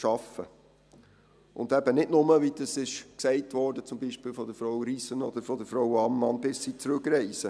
arbeiten, und eben nicht nur, wie das gesagt wurde, zum Beispiel von Frau Riesen oder Frau Ammann, bis sie zurückreisen.